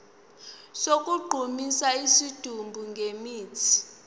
sokugqumisa isidumbu ngemithi